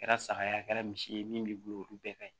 Kɛra saga ye a kɛra misi ye min b'i bolo olu bɛɛ ka ɲi